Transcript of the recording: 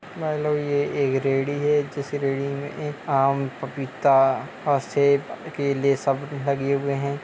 ये एक रेड़ी है जिस रेड़ी में एक आम पपीता और सेब केले सब लगे हुए हैं।